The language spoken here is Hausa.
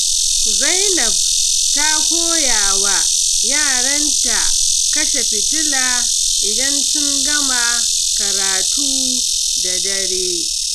Zainab ta koya wa yaranta kashe fitila idan sun gama karatu da dare.